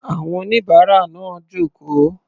Àwọn oníbàárà náà jókòó.